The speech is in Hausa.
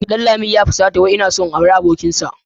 Danlami ya fusata wai ina son in auri abokinsa.